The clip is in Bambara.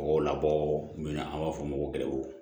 O labɔ min na an b'a fɔ o ma ko